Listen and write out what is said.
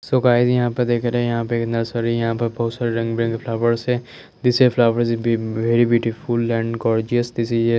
सो guys यहां पे दखरे यहां पे नर्सरी यहां पे बोहोत से रंग बिरंगी फ्लावर्स है this is flowers very beautiful and gorgeous this is --